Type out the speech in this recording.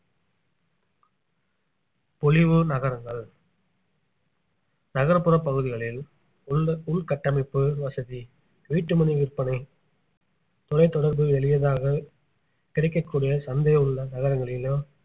பொலிவு நகரங்கள் நகர்ப்புற பகுதிகளில் உள்ள~ உள்கட்டமைப்பு வசதி வீட்டு மனை விற்பனை தொலைத் தொடர்பு எளியதாக கிடைக்கக்கூடிய சந்தை உள்ள நகரங்களிலோ